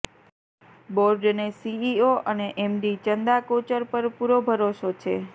બોર્ડને સીઈઓ અને એમડી ચંદા કોચર પર પૂરો ભરોસો છે